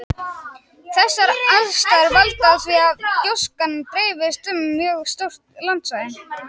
Þessar aðstæður valda því að gjóskan dreifist um mjög stórt landsvæði.